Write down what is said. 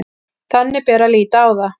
Þannig bera að líta á það